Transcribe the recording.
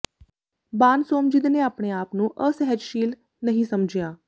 ਬਾਨ ਸੋਮਜਿਦ ਨੇ ਆਪਣੇ ਆਪ ਨੂੰ ਅਸਹਿਜਸ਼ੀਲ ਨਹੀਂ ਸਮਝਿਆ